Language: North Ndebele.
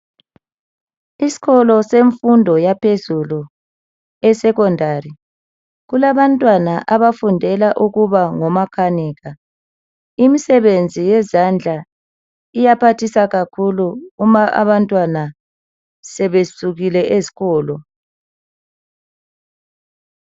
Isikolo semfundo yaphezulu esecondary kulabantwana abafundela ukuba ngomakanika imisebenzi yezandla iyaphathisa kakhulu uma abantwana sebesukile esikolo.